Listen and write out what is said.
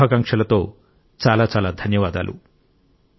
ఈ శుభాకాంక్షలతో చాలా చాలా ధన్యవాదాలు